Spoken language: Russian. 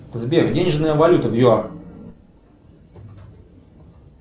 сбер денежная валюта в юар